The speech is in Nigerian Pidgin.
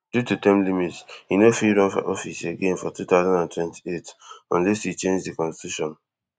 due to term limits e no fit run for office again for two thousand and twenty-eight unless e change di constitution